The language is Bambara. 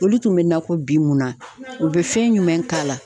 Olu tun bɛ na ko bi mun na, u bɛ fɛn jumɛn k'a la ?